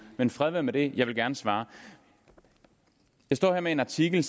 men fred være med det jeg vil gerne svare jeg står her med en artikel